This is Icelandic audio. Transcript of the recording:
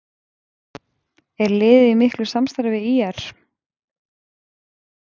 Er liðið í miklu samstarfi við ÍR?